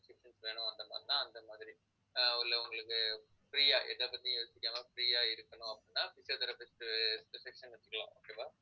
வேணும் அந்த மாதிரின்னா அந்த மாதிரி ஆஹ் உள்ளே உங்களுக்கு free ஆ எதைப்பத்தியும் யோசிக்காம free ஆ இருக்கணும் அப்படின்னா physiotherapist session எடுத்துக்கலாம் okay வா